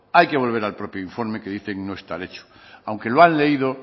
hay que volver al propio informe que dicen no estar hecho aunque lo han leído